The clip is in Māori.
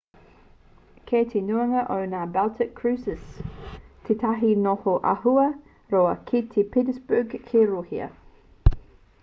kei te nuinga o ngā baltic cruises tētahi noho āhua roa ki st petersburg ki rūhia